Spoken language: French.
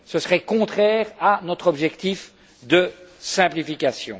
Ce serait contraire à notre objectif de simplification.